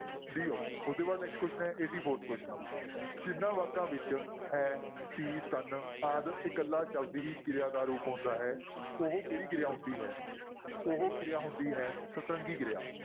D option ਉਹ ਤੋਂ ਬਾਅਦ next question ਹੈ eighty fourth question ਜਿੰਨਾਂ ਵਾਕਾਂ ਵਿੱਚ ਹੈ, ਸੀ, ਸਨ ਆਦਿ ਇਕੱਲਾ ਸ਼ਬਦ ਹੀ ਕਿਰਿਆ ਦਾ ਰੂਪ ਹੁੰਦਾ ਹੈ ਉਹ ਕਿਹੜੀ ਕਿਰਿਆ ਹੁੰਦੀ ਹੈ ਉਹ ਕਿਰਿਆ ਹੁੰਦੀ ਹੈ ਸਤਰੰਗੀ ਕਿਰਿਆ।